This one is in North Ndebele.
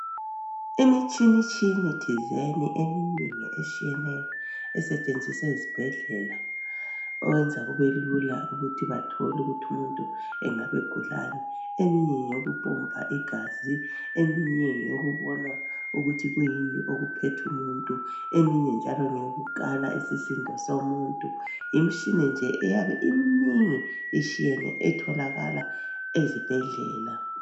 Imitshinitshini-design eminengi etshiyeneyo, esetshenziswa eziibhedlela. Okwenza kubelula ukuthi bathole ukuthi umuntu engabe egulani. Eminye ngeyokupompa igazi. Eminye ngeyokubona ukuthi kuyini okuphethe umuntu.. Eminye njalo ngeyokukala isisindo somuntu. Yimitshini nje eyabe iminingi ishiyene, etholakala ezibhedlela.